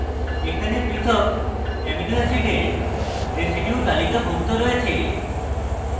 এখানে পৃথক অ্যামিনো অ্যাসিডের residues তালিকাভুক্ত রয়েছে